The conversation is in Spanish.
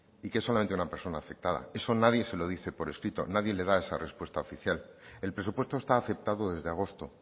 y que es solamente una persona afectada eso nadie se lo dice por escrito nadie le da esa respuesta oficial el presupuesto está aceptado desde agosto